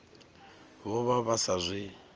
vho vha vha sa zwi